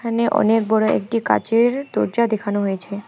এখানে অনেক বড়ো একটি কাঁচের দরজা দেখানো হয়েছে।